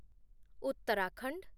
Uttarakhand